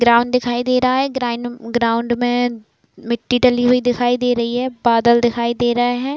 Ground दिखाई दे रहा है| ग्राइन्ड ग्राउंड में मिट्टी डली हुई दिखाई दे रही है। बादल दिखाई दे रहे हैं।